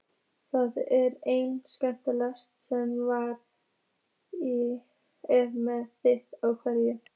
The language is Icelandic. Það er einn hérna sem er með þig á heilanum.